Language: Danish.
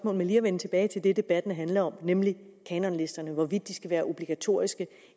med lige at vende tilbage til det debatten handler om nemlig kanonlisterne og hvorvidt de skal være obligatoriske